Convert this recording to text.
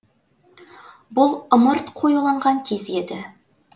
бұл ымырт қоюланған кез еді